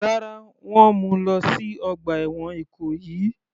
Rárá, wọ́n mú u lọ sí ọgbà ẹ̀wọ̀n Ìkòyí.